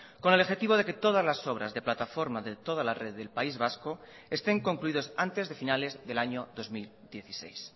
con el objetivo de que todas las obras de plataforma de toda la red del país vasco estén concluidos antes de finales del año dos mil dieciséis